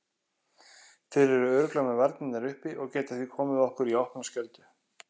Þeir eru örugglega með varnirnar uppi og geta því komið okkur í opna skjöldu.